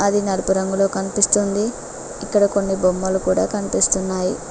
అది నలుపు రంగులో కనిపిస్తుంది ఇక్కడ కొన్ని బొమ్మలు కూడా కనిపిస్తున్నాయి.